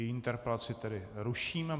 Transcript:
Její interpelaci tedy ruším.